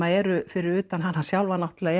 eru fyrir utan hana sjálfa náttúrulega